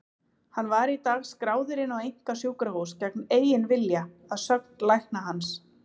Hann var í dag skráður inn á einkasjúkrahús gegn eigin vilja, að sögn lækna hans.